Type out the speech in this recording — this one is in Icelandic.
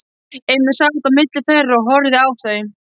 Emil sat á milli þeirra og horfði á þau.